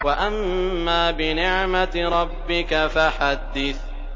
وَأَمَّا بِنِعْمَةِ رَبِّكَ فَحَدِّثْ